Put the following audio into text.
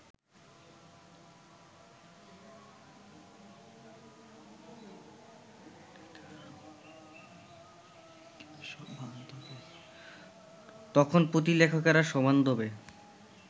তখন পুঁথিলেখকেরা সবান্ধবে